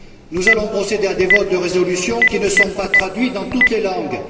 Nous allons procéder à des votes de résolutions qui ne sont pas traduites dans toutes les langues.